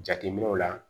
Jateminɛw la